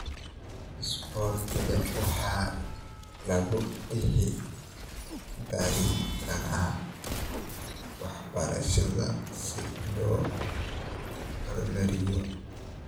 Isboortiga waxaa lagu dhex dari karaa waxbarashada si loo horumariyo.